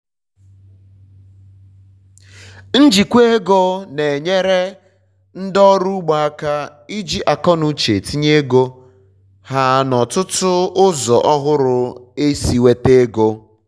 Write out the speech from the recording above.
njikwa ego na enyere ndi ọrụ ugbo aka iji akọnuche tinye ego ha na ọtụtụ ụzọ ohụrụ esi enweta ego